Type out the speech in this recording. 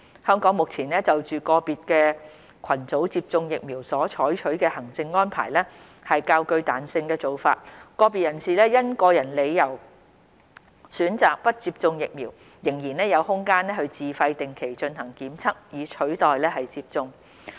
香港目前就個別群組接種疫苗所採取的行政安排是較具彈性的做法，個別人士因個人理由選擇不接種疫苗，仍然有空間自費定期進行檢測以取代接種。